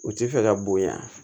U ti fɛ ka bonya